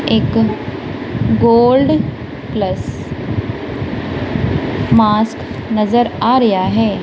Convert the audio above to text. ਇੱਕ gold plus mask ਨਜ਼ਰ ਆ ਰਿਹਾ ਹੈ।